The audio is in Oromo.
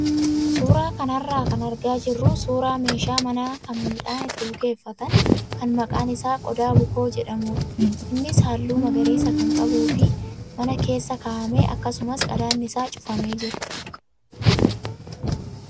Suuraa kanarraa kan argaa jirru suuraa meeshaa manaa kan midhaan itti bukeeffatan kan maqaan isaa qoda bukoo jedhamudha. Innis halluu magariisa kan qabuu fi mana keessa kaa'amee akkasumas qadaadni isaa cufamee jira.